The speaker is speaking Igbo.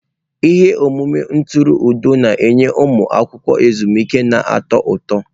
Ihe omume ntụrụndụ na-enye ụmụ akwụkwọ ezumike na-atọ ụtọ.